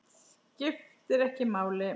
Skiptir ekki máli.